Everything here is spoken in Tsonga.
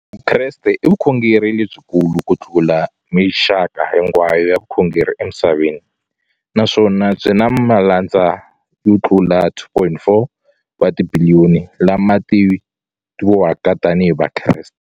Vukreste i vukhongeri lebyi kulu kutlula mixaka hinkwayo ya vukhongeri emisaveni, naswona byi na malandza yo tlula 2.4 wa tibiliyoni, la ma tiviwaka tani hi Vakreste.